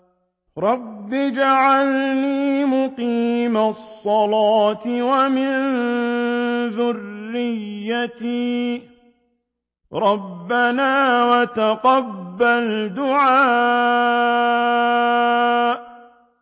رَبِّ اجْعَلْنِي مُقِيمَ الصَّلَاةِ وَمِن ذُرِّيَّتِي ۚ رَبَّنَا وَتَقَبَّلْ دُعَاءِ